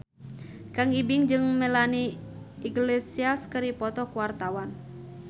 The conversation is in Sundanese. Kang Ibing jeung Melanie Iglesias keur dipoto ku wartawan